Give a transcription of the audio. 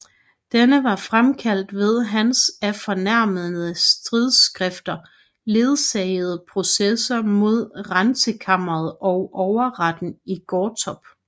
Denne var fremkaldt ved hans af fornærmende stridsskrifter ledsagede processer mod Rentekammeret og Overretten i Gottorp